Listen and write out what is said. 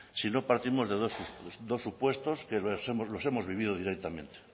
si no partimos de dos supuestos que los hemos vivido directamente